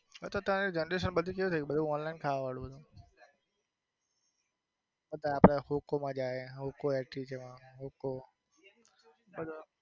અત્યાર બધી generation કેવી થઇ ગઈ બધું online ખાવા વાળું છે અત્યાર આપડે હોકો માં જાય હોકો એટી માં હોકો